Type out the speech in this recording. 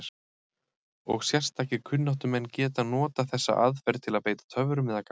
Og sérstakir kunnáttumenn geta notað þessa aðferð til að beita töfrum eða galdri.